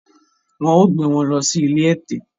Wọn ó gbé wọn lọ sí ilé ẹ̀tẹ̀